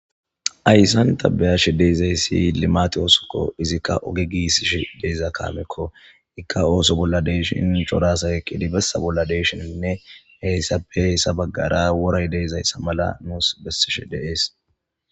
Ayisan tabeyashi deezayssi limati oosokko izikka oge giisish deeza kaamekko ikka ooso bolla deeshin corasa eqidi bessa bolla deeshininne heyssappe heyssa baggara woray deezayssa mala nus bessish dees